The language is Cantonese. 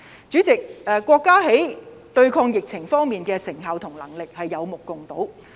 主席，國家在對抗疫情方面的成效和能力，是有目共睹。